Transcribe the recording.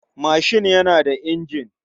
Mashin yana da injin.